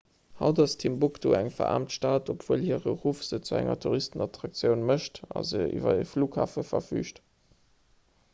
haut ass timbuktu eng veraarmt stad obwuel hire ruff se zu enger touristenattraktioun mécht a se iwwer e flughafen verfüügt